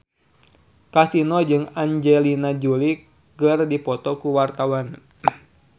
Kasino jeung Angelina Jolie keur dipoto ku wartawan